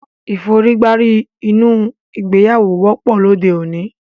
Ìforígbárí nínú ìgbéyàwó wọ́pọ̀ lóde òní